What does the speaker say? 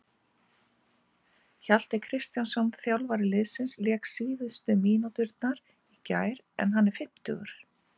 Hjalti Kristjánsson, þjálfari liðsins, lék síðustu mínúturnar í gær en hann er fimmtugur.